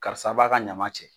Karisa b'a ka ɲama cɛ